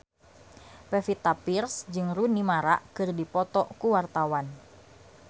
Pevita Pearce jeung Rooney Mara keur dipoto ku wartawan